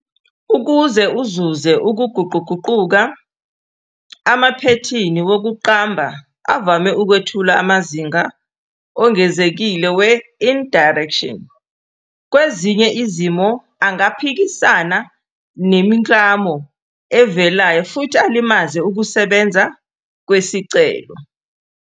Ukuze uzuze ukuguquguquka, amaphethini wokuqamba avame ukwethula amazinga ongezekile we- indirection, kwezinye izimo angaphikisana nemiklamo evelayo futhi alimaze ukusebenza kwesicelo.